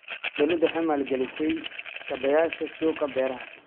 Dawladdu waxay maalgelisay kaabayaasha suuqa beeraha.